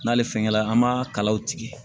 N'ale fɛngɛ la an b'a kalaw tigɛ